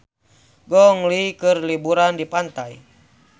Gong Li keur liburan di pantai